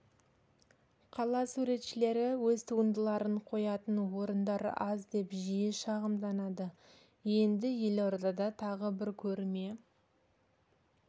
қала суретшілері өз туындыларын қоятын орындар аз деп жиі шағымданады енді елордада тағы бір көрме